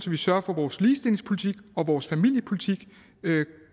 vi sørger for at vores ligestillingspolitik og vores familiepolitik